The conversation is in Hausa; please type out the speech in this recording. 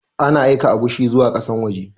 Ana aika agushi zuwa ƙasan waje